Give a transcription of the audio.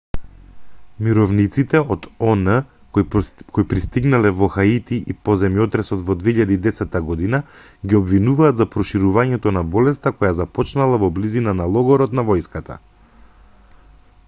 мировниците од он кои пристигнале во хаити по земјотресот во 2010 година ги обвинуваат за проширувањето на болеста која започнала во близина на логорот на војската